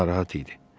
Narahat idi.